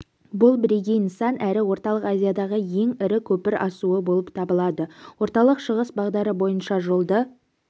бұл бірегей нысан әрі орталық азиядағы ең ірі көпір асуы болып табылады орталық-шығыс бағдары бойынша жолды